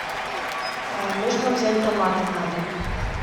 нужно взять томаты на дом